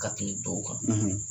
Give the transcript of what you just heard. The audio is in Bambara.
Ka tɛmɛ tɔw kan.